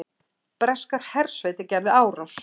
Breskar hersveitir gerðu árás